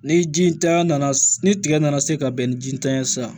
Ni ji tanya nana ni tigɛ nana se ka bɛn ni jitanya ye sisan